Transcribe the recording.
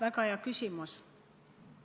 Väga hea küsimus.